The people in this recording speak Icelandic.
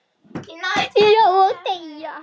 Já, og deyja